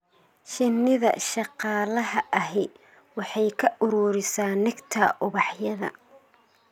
Shinnida shaqaalaha ahi waxay ka ururisaa nectar ubaxyada.